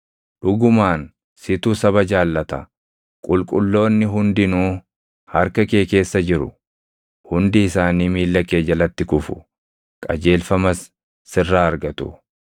Dhugumaan situ saba jaallata; qulqulloonni hundinuu harka kee keessa jiru. Hundi isaanii miilla kee jalatti kufu; qajeelfamas sirraa argatu;